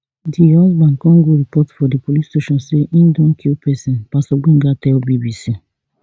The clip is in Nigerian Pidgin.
di husband come go report for di police station say im don kill pesin pastor gbenga tell bbc